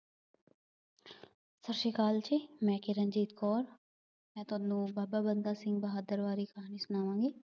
ਸਤਿ ਸ਼੍ਰੀ ਅਕਾਲ ਜੀ, ਮੈਂ ਕਿਰਨਦੀਪ ਕੌਰ, ਮੈਂ ਤੁਹਾਨੂੰ ਬਾਬਾ ਬੰਦਾ ਸਿੰਘ ਬਹਾਦਰ ਬਾਰੇ ਕੁੱਝ ਸੁਣਾਵਾਂਗੀ।